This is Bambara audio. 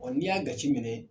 Ɔ n'i y'a gaci minɛ